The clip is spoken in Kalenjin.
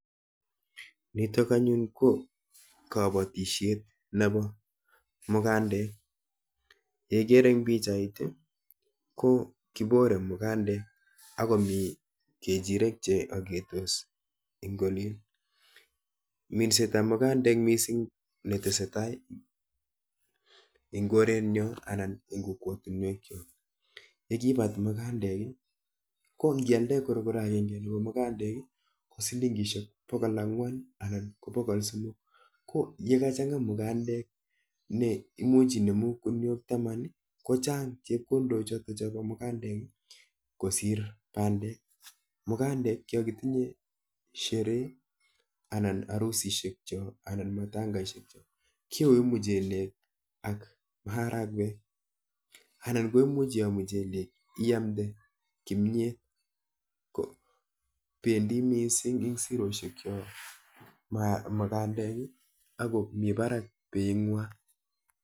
Nitok anyun ko kabatishet nepo mukandek. Neikere eng pichait ko kipore mukandek akomi kechirek cheaketos eng olin. Minsetap mukandek mising netesetai eng korenyo anan eng kokwatunwekcho. yekibat mukandek, ko nkialde korokoro akenke nepo mukandek, ko silingishek bokol ang'wan anan ko bokol somok, ko yekachang'a mukandek ne imuch inemu kuniok taman, ko chang chepkondochoto po mukandek kosir bandek. Mukandek yokitinye sheree anan harusishekcho anan matangeshekcho kiyoi muchelek ak maharakwek anan iyo muchelek iamde kimiet ko pendi mising eng siroshekcho mugandek ako mi barak beinwa.